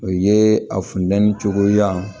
O ye a funtɛni cogoya